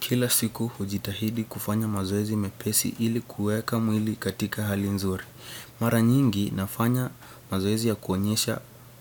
Kila siku hujitahidi kufanya mazoezi mepesi ili kueka mwili katika hali nzuri. Mara nyingi nafanya mazoezi ya kuonyesha